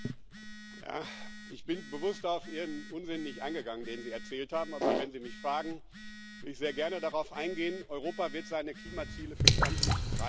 Ich bin bewusst nicht auf Ihren Unsinn eingegangen, den Sie erzählt haben, aber wenn Sie mich fragen, werde ich sehr gerne darauf eingehen Europa wird seine Klimaziele für 2030 erreichen.